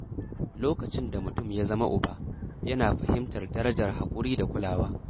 Lokacin da mutum ya zama uba, yana fahimtar darajar haƙuri da kulawa.